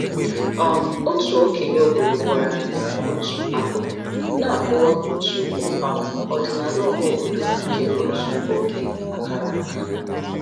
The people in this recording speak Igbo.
um Otu okenye obodo gwara anyị otu akụkọ na-akọwa otu um ọdịnala ọhaobodo nke otu oge a kara aka.